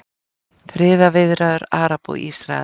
Friðarviðræður Araba og Ísraela